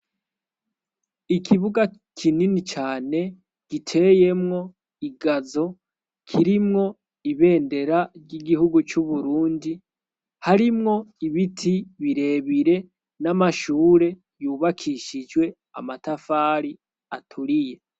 Ikibuga kinini cane giteyemwo igazo kirimwo ibendera ry'igihugu c' Uburundi, harimwo ibiti birebire n'amashure yubakishijwe amatafari aturiye.